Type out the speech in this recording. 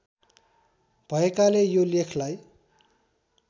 भएकाले यो लेखलाई